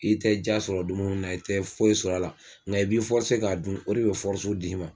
I tɛ diya sɔrɔ dumuni na, i tɛ foyi sɔr'a la nga i b'i k'a dun o de bɛ d'i ma.